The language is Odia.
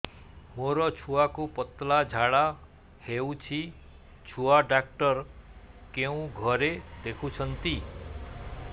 ମୋର ଛୁଆକୁ ପତଳା ଝାଡ଼ା ହେଉଛି ଛୁଆ ଡକ୍ଟର କେଉଁ ଘରେ ଦେଖୁଛନ୍ତି